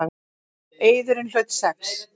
Eiðurinn hlaut sex.